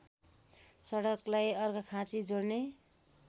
सडकलाई अर्घाखाँची जोड्ने